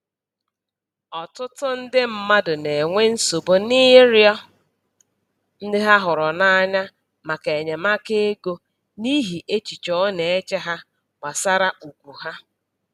Ọtụtụ ndị mmadụ na-enwe nsogbu n'ịrịọ ndị ha hụrụ n'anya maka enyemaka ego n'ihi echiche ọ na-eche ha gbasara ugwu ha.